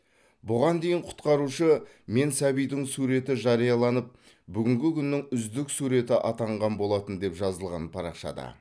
бұған дейін құтқарушы мен сәбидің суреті жарияланып бүгінгі күннің үздік суреті атанған болатын деп жазылған парақшада